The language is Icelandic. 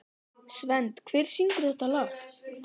Svend, hver syngur þetta lag?